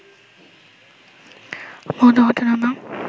ভৌত ঘটনা বা